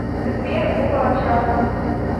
сбер около часа